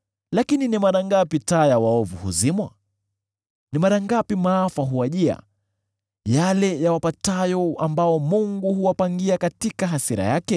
“Lakini ni mara ngapi taa ya waovu huzimwa? Ni mara ngapi maafa huwajia, yale yawapatayo ambayo Mungu huwapangia katika hasira yake?